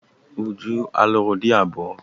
Uju a lụrụ di abụọ?